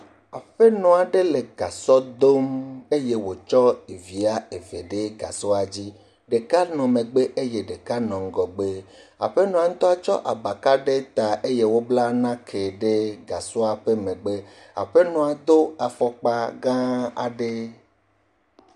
Aƒenɔ aɖe le gasɔ dom eye wòtsɔ ɖevi eve ɖe gasɔa dzi. Ɖeka nɔ ŋgɔgbe eye ɖeka nɔ megbe. Aƒenɔa ŋutu tsɔ abaka ɖe ta eye wobla nake ɖe gasɔa ƒe megbe. Aƒenɔa do afɔkpa gãa aɖe.